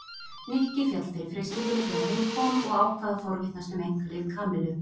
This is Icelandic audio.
Nikki féll fyrir freistingunni þegar heim kom og ákvað að forvitnast um einkalíf Kamillu.